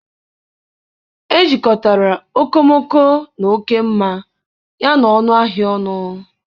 Ejikọtara okomoko na oke mma yana ọnụ ahịa ọrụ